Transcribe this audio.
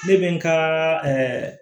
Ne bɛ n ka